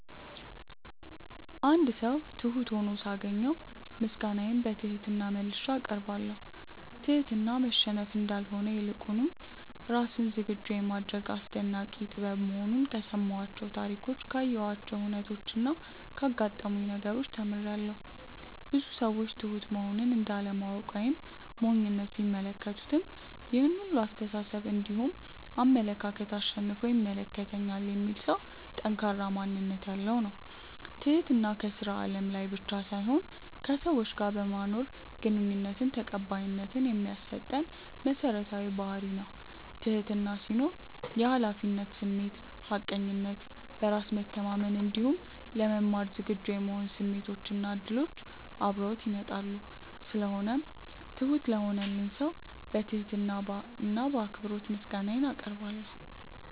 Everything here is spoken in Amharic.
አንድ ሰው ትሁት ሁኖ ሳገኘው ምስጋናዬን በትህትና መልሼ አቀርባለሁ። ትህትና መሸነፍ እንዳልሆነ ይልቁንም ራስን ዝግጁ የማድረግ አስደናቂ ጥበብ መሆኑን ከሰማኋቸው ታሪኮች ካየኋቸው ሁነቾች እና ካጋጠሙኝ ነገሮች ተምሬያለው። ብዙ ሰዎች ትሁት መሆንን እንደ አለማወቅ ወይም ሞኝነት ቢመለከቱትም ይሄን ሁላ አስተሳሰብ እንዲሁም አመለካከት አሸንፎ ይመለከተኛል የሚል ሰው ጠንካራ ማንነት ያለው ነው። ትህትና ከስራ አለም ላይ ብቻ ሳይሆን ከሰዎች ጋር በማኖረን ግንኙነት ተቀባይነት የሚያሰጠን መሰረታዊ ባህርይ ነው። ትህትና ሲኖር የሀላፊነት ስሜት፣ ሀቀኝነት፣ በራስ መተማመን እንዲሁም ለመማር ዝግጁ የመሆን ስሜቶች እና እድሎች አብረውት ይመጣሉ። ስለሆነው ትሁት ለሆነልኝ ሰው በትህትና እና በአክብሮት ምስጋናዬን አቀርባለሁ።